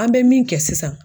An be min kɛ sisan